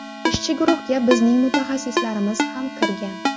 Ishchi guruhga bizning mutaxassislarimiz ham kirgan.